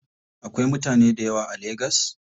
Akwai mutane dayawa a lagas?